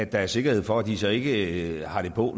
der er sikkerhed for at de så ikke har det på